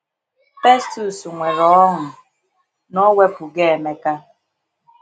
Festus nwere ọṅụ na ọ wepụgo Emeka.